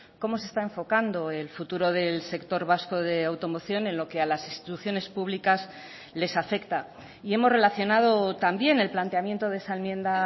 cómo se está enfocando el futuro del sector vasco de automoción en lo que a las instituciones públicas les afecta y hemos relacionado también el planteamiento de esa enmienda